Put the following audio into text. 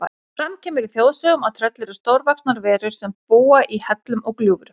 Fram kemur í þjóðsögum að tröll eru stórvaxnar verur sem búa í hellum og gljúfrum.